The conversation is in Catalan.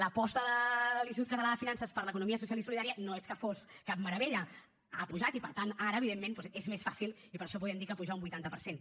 l’aposta de l’institut català de finances per l’economia social i solidària no és que fos cap meravella ha pujat i per tant ara evidentment doncs és més fàcil i per això podem dir que puja un vuitanta per cent